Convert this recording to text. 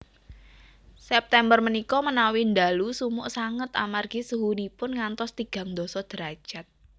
September menika menawi ndalu sumuk sanget amargi suhunipun ngantos tigang ndasa derajat